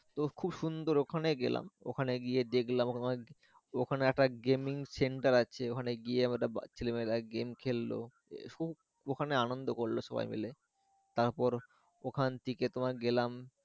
তো খুব সুন্দর ওখানে গেলাম ওখানে গিয়ে দেখলাম ওখানে অনেক একটা gaming center আছে ওখানে গিয়ে আমরা ছেলেমেয়েরা গেম খেললো খুব ওখানে আনন্দ করলো সবাই মিলে তারপর ওখান থেকে তোমার গেলাম।